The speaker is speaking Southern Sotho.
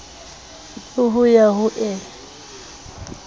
le ho ya ho e